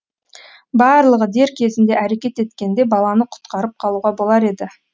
барлығы дер кезінде әрекет еткенде баланы құтқарып қалуға болар еді